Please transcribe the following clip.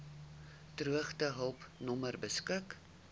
droogtehulp nommer beskik